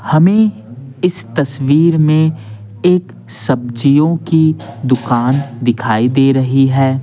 हमें इस तस्वीर में एक सब्जियों की दुकान दिखाई दे रही है।